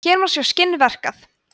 hér má sjá skinn verkað